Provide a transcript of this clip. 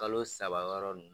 Kalo saba wɔɔrɔ dun